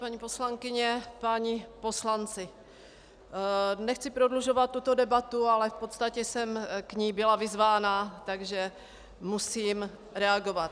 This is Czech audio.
Paní poslankyně, páni poslanci, nechci prodlužovat tuto debatu, ale v podstatě jsem k ní byla vyzvána, takže musím reagovat.